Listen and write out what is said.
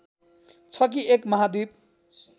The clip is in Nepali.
छ कि एक महाद्वीप